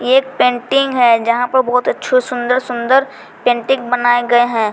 ये एक पेंटिंग है जहां पर बहुत अच्छे सुंदर सुंदर पेंटिंग बनाए गए हैं।